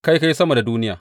Kai ka yi sama da duniya.